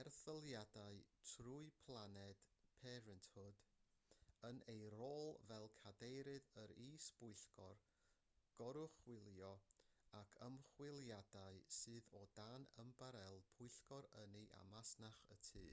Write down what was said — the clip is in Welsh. erthyliadau trwy planned parenthood yn ei rôl fel cadeirydd yr is-bwyllgor goruchwylio ac ymchwiliadau sydd o dan ymbarél pwyllgor ynni a masnach y tŷ